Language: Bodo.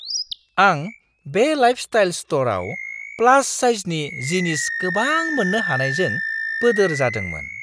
आं बे लाइफस्टाइल स्ट'रआव प्लास साइजनि जिनिस गोबां मोननो हानायजों बोदोर जादोंमोन!